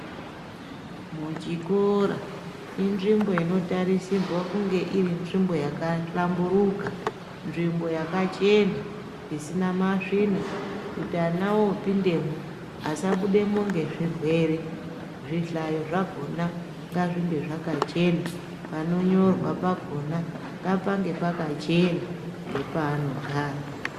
Muchikora inzvimbo inotarisirwe kunge iri nzvimbo yahlamburuka nzvimbo yakachena isina masvina kuti ana opindemwo asabudemwo ngezvirwere zvihlayo zvakona ngazvinge zvakachena, panonyorwa pakona ngapange pakachena ngepanogara.